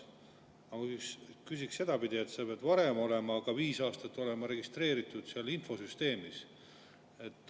Aga küsiks sedapidi: sa pead olema viis aastat seal infosüsteemis registreeritud olnud.